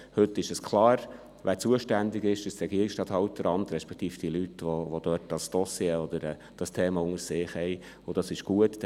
Heute ist klar, wer zuständig ist, nämlich das Regierungsstatthalteramt respektive die Leute, die dieses Thema dort unter sich haben, und das ist gut.